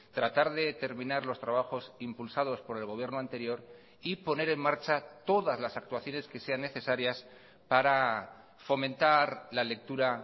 tratar de terminar los trabajos impulsados por el gobierno anterior y poner en marcha todas las actuaciones que sean necesarias para fomentar la lectura